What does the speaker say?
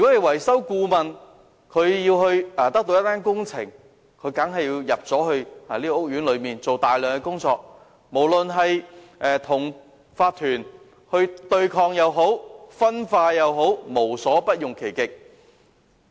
維修顧問如想得到一份工程合約，當然要先進入屋苑進行大量的前期工作，不論是與業主立案法團對抗也好、分化也好，總之便無所不用其極。